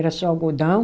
Era só algodão.